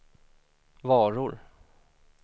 varor